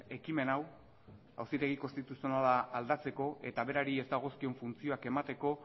ekimen hau auzitegi konstituzionala aldatzeko eta berari ez dagozkion funtzioak emateko